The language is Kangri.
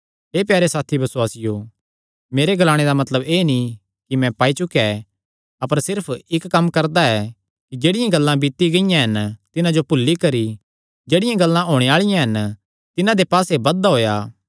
हे प्यारे साथी बसुआसियो मेरे ग्लाणे दा मतलब एह़ नीं कि मैं पाई चुकेया ऐ अपर सिर्फ एह़ इक्क कम्म करदा ऐ कि जेह्ड़ियां गल्लां बीती गियां हन तिन्हां जो भुल्ली करी जेह्ड़ियां गल्लां होणे आल़िआं हन तिन्हां दे पास्से बधदा होएया